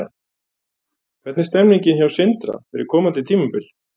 Hvernig er stemningin hjá Sindra fyrir komandi tímabil?